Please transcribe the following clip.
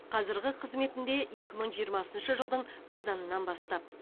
қазырғы қызметінде екі мың жиырмасыншы жылдың қазанынан бастап